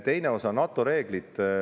Teine osa, NATO reeglid.